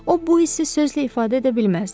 O bu hissi sözlə ifadə edə bilməzdi.